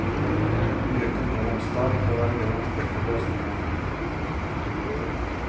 Mye kunne vært spart ved å velge den enkleste løsning. punktum